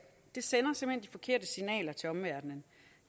det sender simpelt hen de forkerte signaler til omverdenen